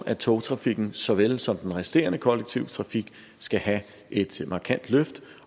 at togtrafikken såvel som den resterende kollektive trafik skal have et markant løft